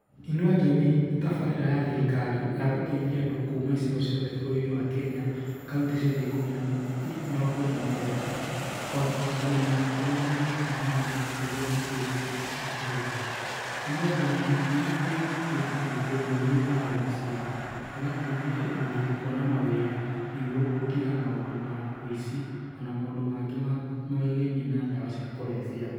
Inua Jamii nĩ tabarĩra ya thirikari ya gũteithia andũ kuma icigo ciothe bũrũrĩ-inĩ wa Kenya, kauntĩ ciothe mĩrongo ĩna na mũgwanja kũhota kũmenya ũrĩa mangĩĩka maũndũ nĩguo makũrie mbiacara ciao. Inua Jamii nĩ ĩhotiyhĩtie andũ gũtheria taũni ciao, ĩgateithia yuthi kuona mawĩra nĩguo gũtiga maũndũ ma ũici o na maũndũ mangĩ maegemainie na ndawa cia kũrebia.